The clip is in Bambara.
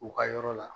U ka yɔrɔ la